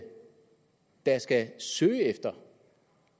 da skal søge efter